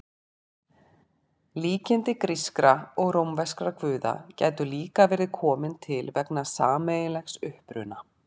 Líkindi grískra og rómverskra guða gætu líka verið komin til vegna sameiginlegs uppruna.